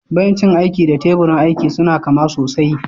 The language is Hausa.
Bencin aiki da teburin aiki suna kama sosai.